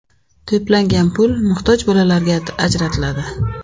To‘plangan pul muhtoj bolalarga ajratiladi.